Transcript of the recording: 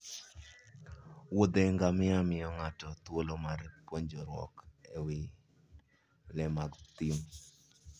wuodhe ngamia miyo ng'ato thuolo mar puonjruok e wi le mag thim